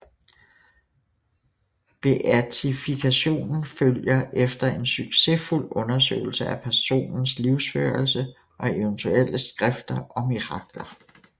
Beatifikationen følger efter en succesfuld undersøgelse af personens livsførelse og eventuelle skrifter og mirakler